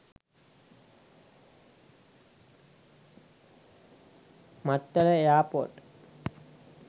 mattala air port